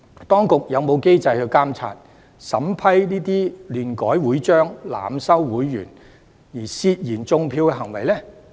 當局有否機制去監察和審視這些亂改會章、濫收會員的涉嫌"種票"行為呢？